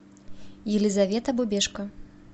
елизавета бубешко